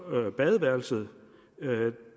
badeværelset